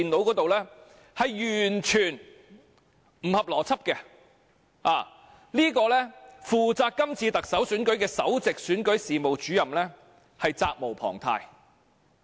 這是完全不合邏輯的，負責今次特首選舉的首席選舉事務主任責無旁貸。